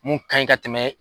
Mun ka ɲi ka tɛmɛ